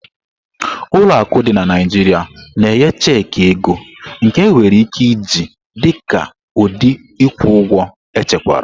Ụlọ akụ dị na Naijiria na-enye checki ego, nke enwere ike iji dị ka ụdị ịkwụ ụgwọ echekwara.